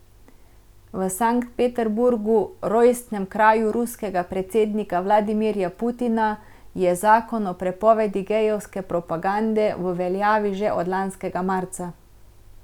V Sankt Peterburgu, rojstnem kraju ruskega predsednika Vladimirja Putina, je zakon o prepovedi gejevske propagande v veljavi že od lanskega marca.